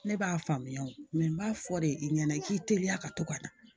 Ne b'a faamuya n b'a fɔ de i ɲɛna i k'i teliya ka to ka na